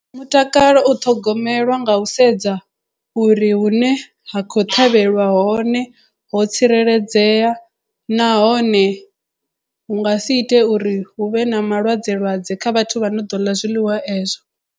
Mutakalo u ṱhogomelwa nga u sedza uri hu ne ha khou ṱhavhelwa hone ho tsireledzea nahone hu nga si ite uri hu vhe na malwadze lwadze kha vhathu vha no ḓo ḽa zwiḽiwa ezwo.